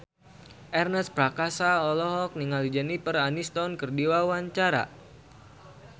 Ernest Prakasa olohok ningali Jennifer Aniston keur diwawancara